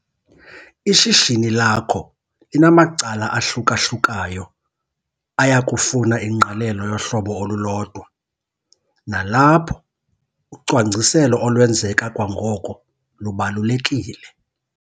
Ishishini lakho linamacala ahluka-hlukayo aya kufuna ingqalelo yohlobo olulodwa nalapho ucwangciselo olwenzeka kwangoko lubalulekile.